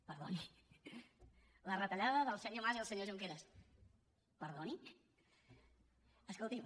) la retallada del senyor mas i el senyor junqueras perdoni escolti’m